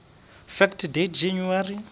fact date january